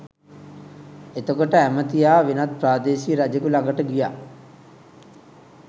එතකොට ඇමතියා වෙනත් ප්‍රාදේශීය රජෙකු ළඟට ගියා